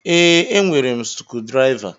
Ee, e nwere sukudiriva